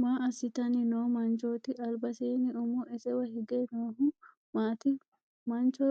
Maa assitanni noo manchooti? Albaseenni umo isewa hige noohu maati? Mancho